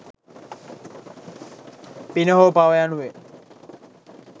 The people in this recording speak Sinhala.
පින හෝ පව යනුවෙන්